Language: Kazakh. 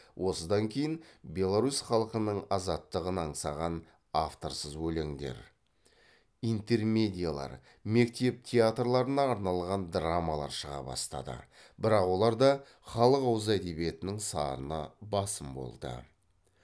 осыдан кейін беларусь халқының азаттығын аңсаған авторсыз өлеңдер интермедиялар мектеп театрларына арналған драмалар шыға бастады бірақ оларда халық ауыз әдебиетінің сарыны басым болды